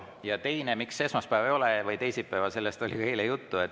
Ja see, miks esmaspäeva või teisipäeva ei ole, sellest oli eile juttu.